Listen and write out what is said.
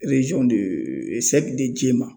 JEMA.